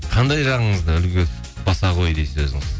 қандай жағыңызды үлгі тұтпаса ғой дейсіз өзіңіз